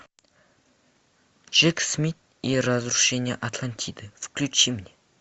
джек смит и разрушение атлантиды включи мне